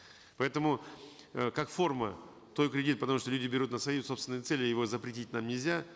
поэтому э как форма той кредит потому что люди берут на свои собственные цели его запретить нам нельзя